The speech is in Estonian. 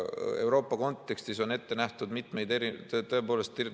Euroopa kontekstis on ette nähtud mitmeid erinevaid võimalusi.